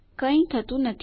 કઈ થતું નથી